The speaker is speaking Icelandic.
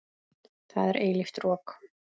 Það er eilíft rok.